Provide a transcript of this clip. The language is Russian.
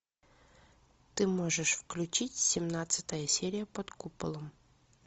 ты можешь включить семнадцатая серия под куполом